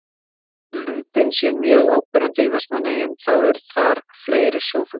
Þótt lundinn sé mjög áberandi í Vestmannaeyjum þá eru þar fleiri sjófuglar.